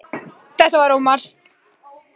Í parísarhjólinu skömmu síðar sé ég að þau eru par